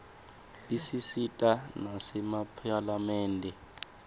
isisita nasemaphalamende